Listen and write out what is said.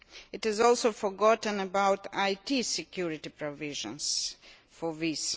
It has also forgotten about IT security provisions for these.